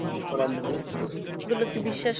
খানিক পারা এগুলোকে বিশ্বাস